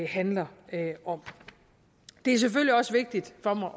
handler om det er selvfølgelig også vigtigt for mig